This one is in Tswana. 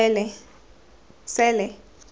sele